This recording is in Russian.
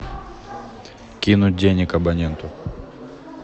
кинуть денег абоненту